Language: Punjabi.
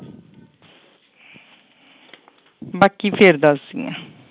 ਬਾਕੀ ਫਿਰ ਦੱਸਦੀ ਹਾਂ।